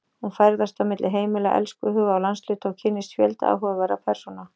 Hún ferðast á milli heimila, elskhuga og landshluta og kynnist fjölda áhugaverðra persóna.